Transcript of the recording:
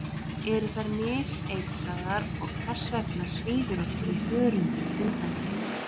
eru þær miseitraðar og hvers vegna svíður okkur í hörundið undan þeim